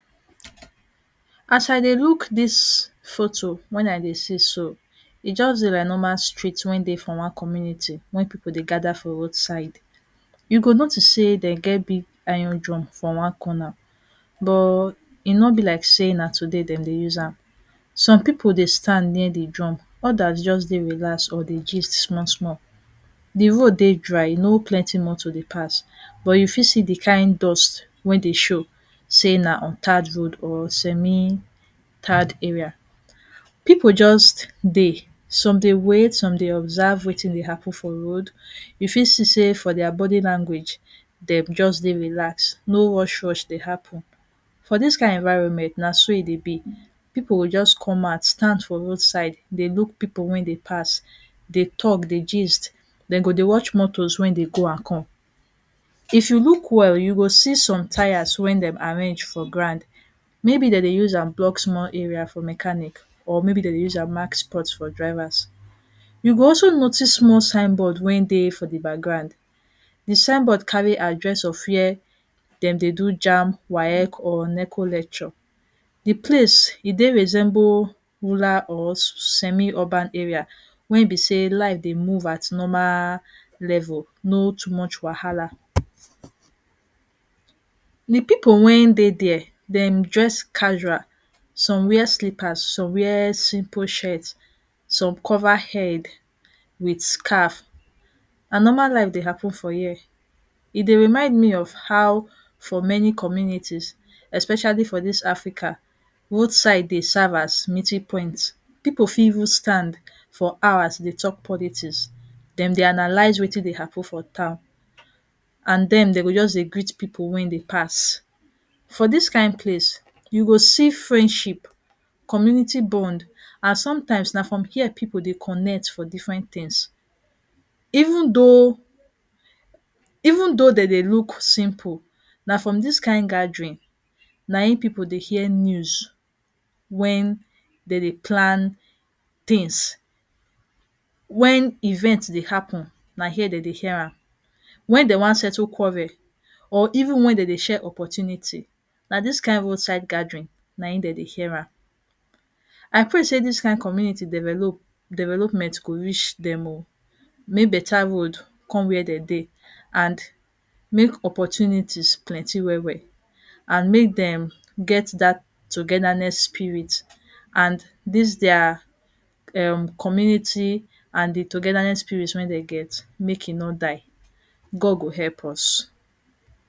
As I dey look dis photo wey I dey see so, e just dey like normal street wey dey for one community wey pipu dey gather for roadside. You go notice sey dem get big iron drum for one corner. But e no be like sey na today dem dey use am. Some pipu dey stand near the drum, others just dey relaxed or dey gist small-small. De road dey dry, no plenty moto dey pass. But you fit see de kind dust wey dey show sey na untarred road or semi-tarred area. Pipu just dey. Some dey wait, some dey observe wetin dey happen for road. You fit see sey for dia body language, dem just dey relaxed, no rush-rush dey happen. For dis kind environment na so e dey be. Pipu go just come out, stand for roadside dey look pipu wey dey pass, dey talk, dey gist. Dem go dey watch motos wey dey go and come. If you look well, you go see some tyres wey dem arrange for ground. Maybe dem dey use am block small area for mechanic or maybe dem dey use am mark spot for drivers. You go also notice small sign board wey dey for the background. De signboard carry address of where dem dey do JAMB, WAEC or NECO lecture. De place, e dey resemble rural or semi-urban area wey be sey life dey move at normal level, no too much wahala. De people wey dey there, dem dress casual. Some wear slippers, some wear simple shirt, some cover head with scarf. Na normal life dey happen for here. E dey remind me of how for many communities, especially for dis Africa, roadside dey serve as meeting point. Pipu fit even stand for hours dey talk politics, dem dey analyze wetin dey happen for town and then, dem go just dey greet pipu wey dey pass. For dis kind place, you go see friendship, community bond and sometimes, na from here pipu dey connect for different things. Even though even though de dey look simple, na from dis kind gathering na im pipu dey hear news when dem dey plan things, when event dey happen, na here dem dey hear am. Wen dem wan settle quarrel or even when de dey share opportunity, na dis kind roadside gathering naim dem dey hear am. I pray sey dis kind community develop development go reach dem o. Make better road come where dem dey and make opportunities plenty well-well and make dem get that togetherness spirit and dis dia um community and de togetherness spirit wey dem get, make e no die. God go help us.